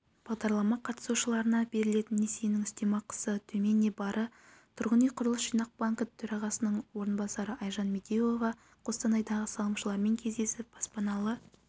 бағдарлама қатысушыларына берілетін несиенің үстемақысы төмен не бары тұрғын үй құрылыс жинақ банкі төрағасының орынбасары айжан медеуова қостанайдағы салымшылармен кездесіп баспаналы